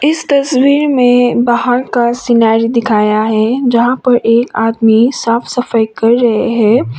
इस तस्वीर में बाहर का सीनारी दिखाया है जहां पर एक आदमी साफ सफाई कर रहें हैं।